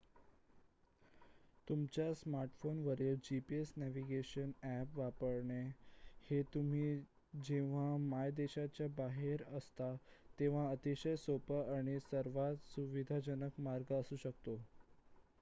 तुमच्या स्मार्टफोनवरील gps navigation app वापरणे हे तुम्ही जेव्हा मायदेशाच्या बाहेर असता तेव्हा अतिशय सोपा आणि सर्वात सुविधाजनक मार्ग असू शकतो